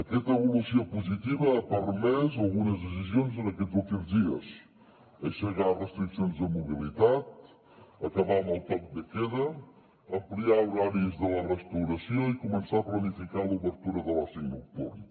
aquesta evolució positiva ha permès algunes decisions en aquests últims dies aixecar restriccions de mobilitat acabar amb el toc de queda ampliar horaris de la restauració i començar a planificar l’obertura de l’oci nocturn